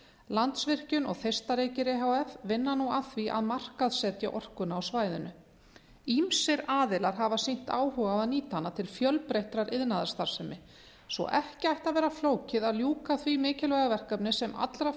landsvirkjun og þeistareykir e h f vinna nú að því að markaðssetja orkuna á svæðinu ýmsir aðilar hafa sýnt áhuga á að nýta hana til fjölbreyttrar iðnaðarstarfsemi svo ekki ætti að vera flókið að ljúka því mikilvæga verkefni sem allra